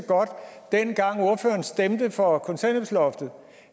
dengang ordføreren stemte for kontanthjælpsloftet